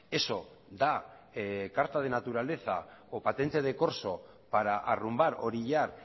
eso da carta de naturaleza o patente de corso para arrumbar orillar